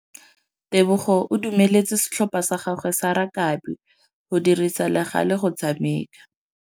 Tebogô o dumeletse setlhopha sa gagwe sa rakabi go dirisa le galê go tshameka.